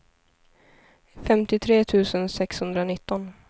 femtiotre tusen sexhundranitton